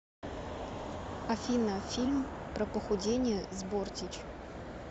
афина фильм про похудение с бортич